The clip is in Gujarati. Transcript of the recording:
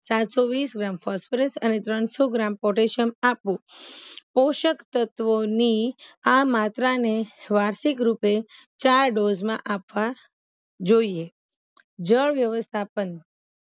સાતસોવીસ ગ્રામ ફોસ્ફરસ અને ત્રણસો ગ્રામ પોટેસ્યમ આપવું પોસક તત્વોની આ માત્રાને વાર્ષિક રૂપે ચાર ડોઝમાં આપવા જોઈએ જળવ્યવસ્થાપન